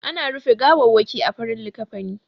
Ana rufe gawawwaki a farin likkafani.